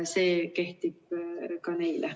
See kehtib ka neile.